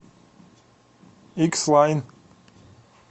икс лайн